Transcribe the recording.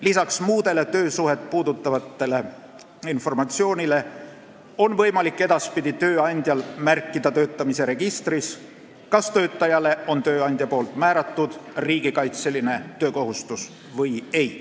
Lisaks muule töösuhet puudutavale informatsioonile on tööandjal võimalik edaspidi märkida töötamise registrisse, kas tööandja on töötajale määranud riigikaitselise töökohustuse või ei.